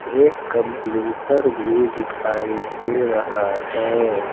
एक कंप्यूटर भी दिखाई दे रहा है।